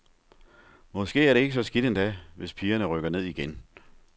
Måske er det ikke så skidt endda, hvis pigerne rykker ned igen.